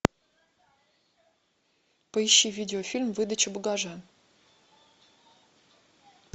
поищи видеофильм выдача багажа